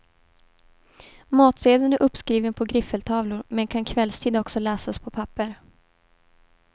Matsedeln är uppskriven på griffeltavlor men kan kvällstid också läsas på papper.